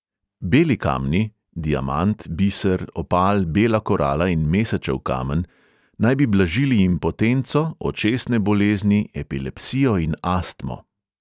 Beli kamni – diamant, biser, opal, bela korala in mesečev kamen – naj bi blažili impotenco, očesne bolezni, epilepsijo in astmo.